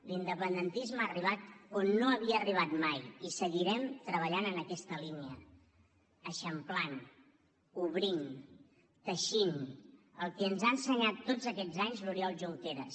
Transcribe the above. l’independentisme ha arribat on no havia arribat mai i seguirem treballant en aquesta línia eixamplant obrint teixint el que ens ha ensenyat tots aquests anys l’oriol junqueras